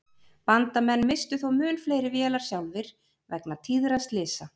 Bandamenn misstu þó mun fleiri vélar sjálfir vegna tíðra slysa.